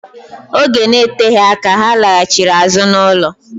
Oge na-eteghi aka, ha laghachịrị azụ n'ọlụ.